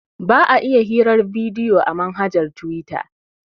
Ba a iya yin hirar bidiyo a manhaja na tuwita